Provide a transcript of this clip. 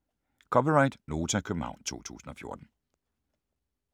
(c) Nota, København 2014